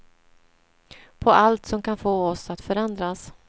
På allt som kan få oss att förändras.